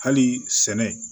Hali sɛnɛ